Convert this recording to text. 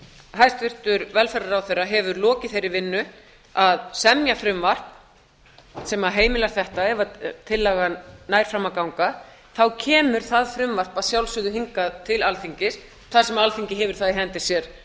hæstvirtur velferðarráðherra hefur lokið þeirri vinnu að semja frumvarp sem heimilar þetta ef tillagan nær fram að ganga þá kemur það frumvarp að sjálfsögðu hingað til alþingis þar sem alþingi hefur það í hendi sér